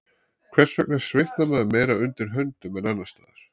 Hvers vegna svitnar maður meira undir höndunum en annars staðar?